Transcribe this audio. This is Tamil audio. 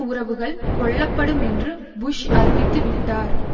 உறவுகள் கொள்ளப்படும் என்று புஷ் அறிவித்து விட்டார்